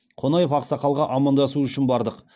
қонаев ақсақалға амандасу үшін бардық